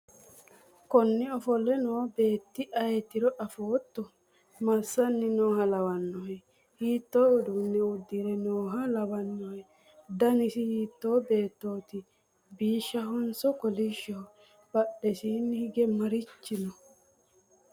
konne ofolle no beetti ayeetiro afootto? massanni nooha lawannohe? hiitto uduunne uddire nooha lawannohe? danasi hiitto beettoti bishshahonso kolishshoho? badhesiinni hige marichi no?